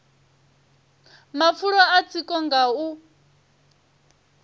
mafulo a tsiko nga u